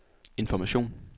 information